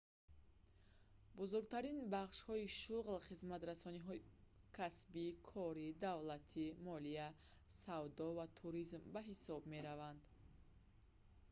бузургтарин бахшҳои шуғл хизматрасониҳоии касбӣ кори давлатӣ молия савдо ва туризм ба ҳисоб мераванд